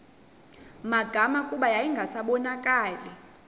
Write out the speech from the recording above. magama kuba yayingasabonakali